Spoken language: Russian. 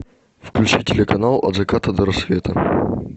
включи телеканал от заката до рассвета